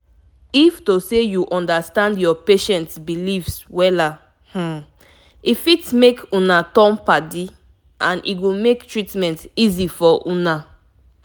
if to say u understand ur patient beliefs wella um e fit make una turn- padi.and e go mk treatment easy for una